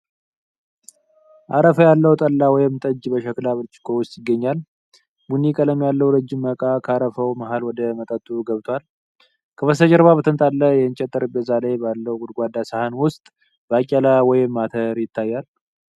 አረፋ ያለው ጠላ ወይም ጠጅ በሸክላ ብርጭቆ ውስጥ ይገኛል። ቡኒ ቀለም ያለው ረጅም መቃ (ሲኒ) ከአረፋው መሃል ወደ መጠጡ ገብቷል። ከበስተጀርባ በተንጣለለ የእንጨት ጠረጴዛ ላይ ባለው ጎድጓዳ ሳህን ውስጥ ባቄላ ወይም አተር ይታያል።